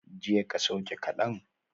Jiya ka sauke kadan?